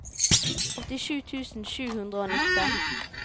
åttisju tusen sju hundre og nitten